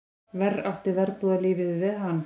Verr átti verbúðarlífið við hann.